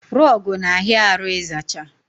Rọgụ na ahịa arụ ịzacha